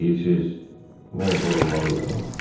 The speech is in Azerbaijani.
Deyirsiniz, mən qorunmalıyam?